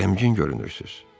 gəmgim görünürsüz.